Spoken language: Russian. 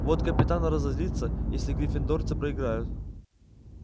вот капитан разозлится если гриффиндорцы проиграют